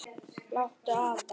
Láttu vaða